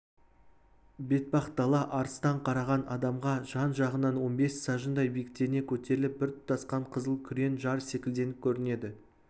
бетпақдала алыстан қараған адамға жан-жағынан он бес сажындай биіктене көтеріліп бір тұтасқан қызыл күрең жар секілденіп көрінеді